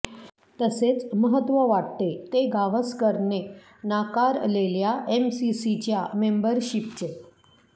तसेच महत्त्व वाटते ते गावसकर ने नाकारलेल्या एमसीसीच्या मेम्बरशिपचे